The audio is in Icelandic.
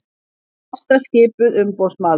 Ásta skipuð umboðsmaður